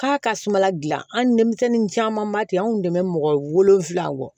K'a ka sumala gilan an denmisɛnnin caman ba ten anw kun tɛ mɔgɔ wolonvila bɔ